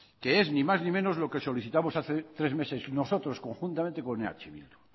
que es ni más ni menos lo que solicitamos hace tres meses nosotros conjuntamente con eh bildu